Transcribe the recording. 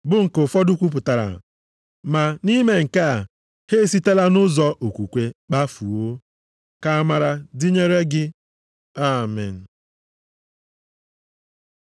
bụ nke ụfọdụ kwupụtara, ma na ime nke a, ha esitela nʼụzọ okwukwe kpafuo. Ka amara dịnyere gị. Amen.